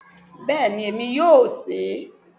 Bẹ́ẹ̀ni, èmi yóò se e